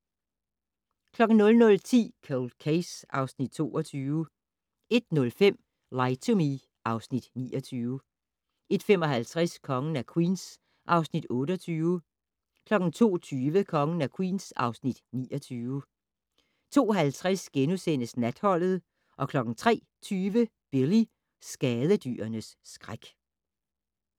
00:10: Cold Case (Afs. 22) 01:05: Lie to Me (Afs. 29) 01:55: Kongen af Queens (Afs. 28) 02:20: Kongen af Queens (Afs. 29) 02:50: Natholdet * 03:20: Billy - skadedyrenes skræk